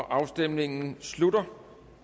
afstemningen slutter